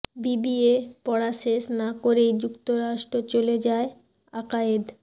BBA পড়া শেষ না করেই যুক্তরাষ্ট্র চলে যায় আকায়েদ